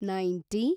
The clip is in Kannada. ನೈಂಟಿ